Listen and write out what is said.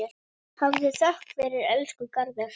Hafðu þökk fyrir, elsku Garðar.